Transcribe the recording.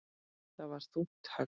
Það var þungt högg.